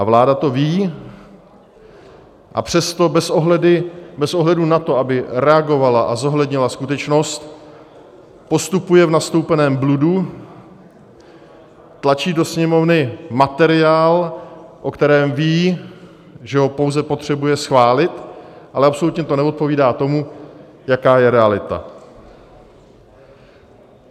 A vláda to ví, a přesto bez ohledu na to, aby reagovala a zohlednila skutečnost, postupuje v nastoupeném bludu, tlačí do Sněmovny materiál, o kterém ví, že ho pouze potřebuje schválit, ale absolutně to neodpovídá tomu, jaká je realita.